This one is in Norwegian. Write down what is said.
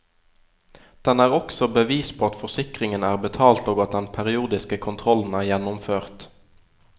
Den er også bevis på at forsikringen er betalt og at den periodiske kontrollen er gjennomført.